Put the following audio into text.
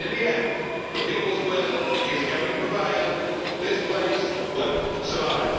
In the end the people's will is going to prevail. This place will not survive.